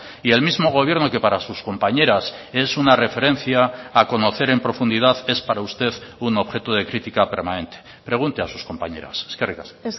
y el mismo gobierno que para sus compañeras es una referencia a conocer en profundidad es para usted un objeto de crítica permanente pregunte a sus compañeras eskerrik asko